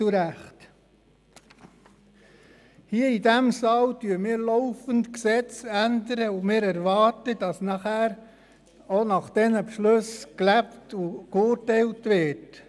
Hier, in diesem Saal, ändern wir laufend Gesetze, und wir erwarten dann, dass anschliessend auch nach diesen Beschlüssen gelebt und geurteilt wird.